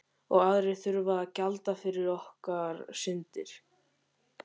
Og aðrir þurfa að gjalda fyrir okkar syndir.